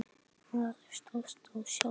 Að slást við sjálfan sig.